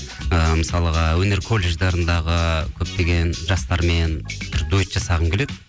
ы мысалға өнер колледждарындағы көптеген жастармен бір дуэт жасағым келеді